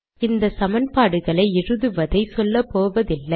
இந்த சமன்பாடுகளை எழுதுவதை சொல்லப்போவதில்லை